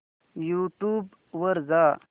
YouTube वर जा